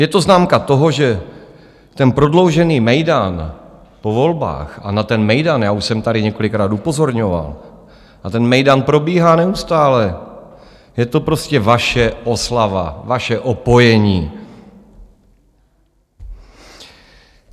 Je to známka toho, že ten prodloužený mejdan po volbách, a na ten mejdan já už jsem tady několikrát upozorňoval, a ten mejdan probíhá neustále, je to prostě vaše oslava, vaše opojení.